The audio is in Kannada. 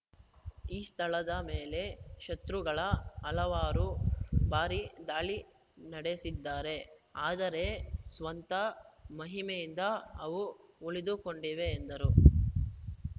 ಈ ಸ್ಥಳದ ಮೇಲೆ ಶತ್ರುಗಳು ಹಲವಾರು ಬಾರಿ ದಾಳಿ ನಡೆಸಿದ್ದಾರು ಆದರೆ ಸ್ವಂತ ಮಹಿಮೆಯಿಂದ ಅವು ಉಳಿದುಕೊಂಡಿವೆ ಎಂದರು